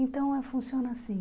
Então, funciona assim.